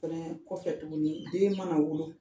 Kɔfɛ tuguni den mana wolo